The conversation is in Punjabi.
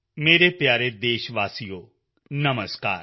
ਮੇਰੇ ਪਿਆਰੇ ਦੇਸ਼ਵਾਸੀਓ ਨਮਸਕਾਰ